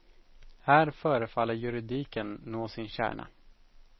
Här förefaller juridiken nå sin kärna.